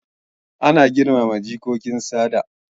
Ana girmama jikokin sada